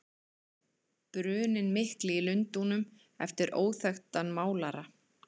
Bruninn mikli í Lundúnum eftir óþekktan málara.